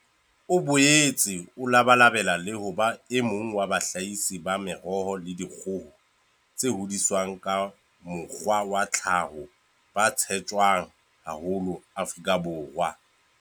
O boetse o labalabela le ho ba emong wa bahlahisi ba meroho le dikgoho tse hodiswang ka mokgwa wa tlhaho ba tshetjwang haholo Afrika Borwa.